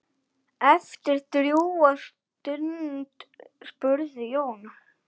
Eftir drjúga stund spurði Jón